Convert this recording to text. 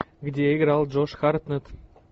где играл джош хартнетт